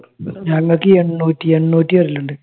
ഞങ്ങൾക്ക് എണ്ണൂറ്റി എണ്ണൂറ്റി വരാലുണ്ട്